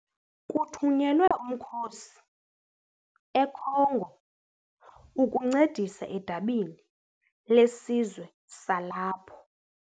Kuthunyelwe umkhosi eCongo ukuncedisa edabini lesizwe salapho.